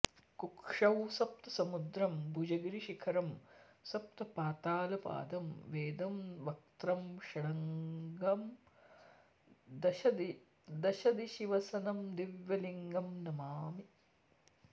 कुक्षौ सप्तसमुद्रं भुजगिरिशिखरं सप्तपातालपादं वेदं वक्त्रं षडङ्गं दशदिशिवसनं दिव्यलिङ्गं नमामि